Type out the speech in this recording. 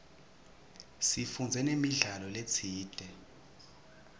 sifundze namidlalo letsite